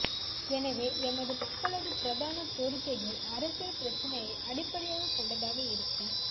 எனவே எமது மக்களது பிரதான கோரிக்கைகள் அரசியல் பிரச்சினையை அடிப்படையாக கொண்டதாக இருக்க